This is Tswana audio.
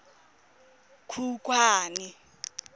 khukhwane